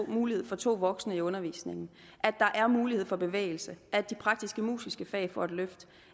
mulighed for to voksne i undervisningen at der er mulighed for bevægelse at de praktiskmusiske fag får et løft